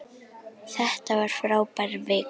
Þetta var frábær vika.